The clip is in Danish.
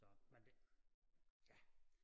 Så men det ja